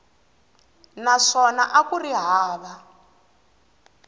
naswona a ku ri hava